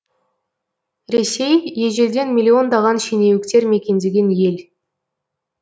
ресей ежелден миллиондаған шенеуіктер мекендеген ел